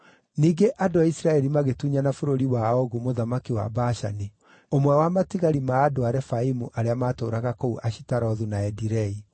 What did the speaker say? Ningĩ andũ a Isiraeli magĩtunyana bũrũri wa Ogu mũthamaki wa Bashani, ũmwe wa matigari ma andũ a Refaimu arĩa maatũũraga kũu Ashitarothu na Edirei.